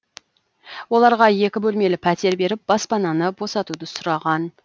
оларға екі бөлмелі пәтер беріп баспананы босатуды сұраған